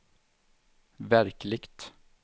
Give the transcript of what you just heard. verkligt